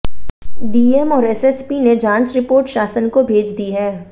DM और SSP ने जांच रिपोर्ट शासन को भेज दी है